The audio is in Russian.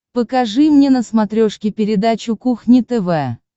покажи мне на смотрешке передачу кухня тв